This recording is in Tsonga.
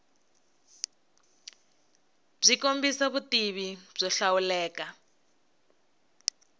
byi kombisa vutivi byo hlawuleka